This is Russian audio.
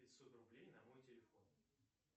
пятьсот рублей на мой телефон